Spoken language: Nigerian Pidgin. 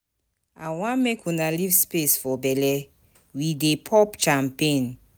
I wan make una leave space for bele, we dey pop champagne